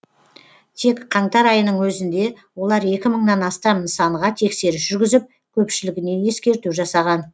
тек қаңтар айының өзінде олар екі мыңнан астам нысанға тексеріс жүргізіп көпшілігіне ескерту жасаған